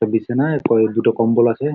বিছনায় ওপরে দুটো কম্বল আছে।